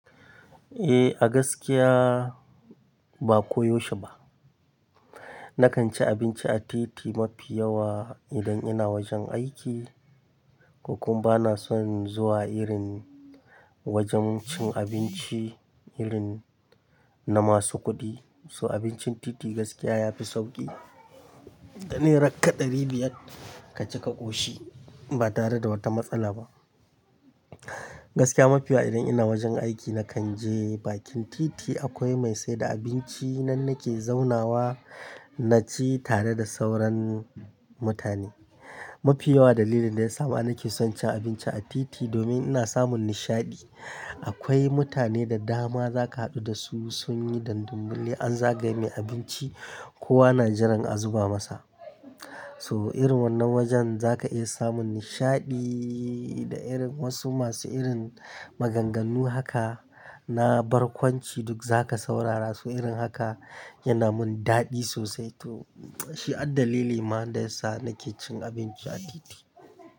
Eh, a gaskiya ba ko yaushe ba. Nakan ci abinci a titi mafi yawa, idan ina wajen aiki. Ko kuma bana son zuwa irin wajen cin abinci, irin na masu kuɗi. So abincin titi gaskiya yafi sauƙi. Da ne rakka ɗari biyar ka ci ka ƙoshi, ba tare da wata matsala ba. Gaskiya mafi yawa idan ina wajen aiki nakan je bakin titi akwai mai saida abinci, nan nake zaunawa na ci tare da sauran mutane. Mafi yawa dalilin da ya sa ma nakeson cin abinci a titi, domin ana samun nishaɗi. Akwai mutane da dama zaka haɗu da su, sun yi dandamali an zagaye mai abinci, kowa na jiran a zuba masa. So irin wannan wajen zaka iya samun nishaɗi da irin wasu masu irin maganganu haka na barkwanci duk zaka saurara. So irin haka yana mun daɗi sosai. To shi addalili ma da yasa nake cin abinci a titi.